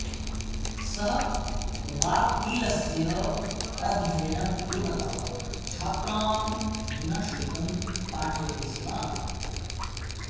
सः वाक्कीलस्य अध्ययनं कुर्वतः छात्रान् विना शुल्कं पाठयति स्म